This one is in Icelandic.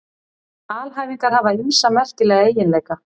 Alhæfingar hafa ýmsa merkilega eiginleika.